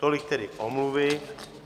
Tolik tedy omluvy.